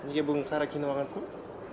неге бүгін қара киініп алғансың